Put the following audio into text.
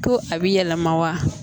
Ko a bi yɛlɛma wa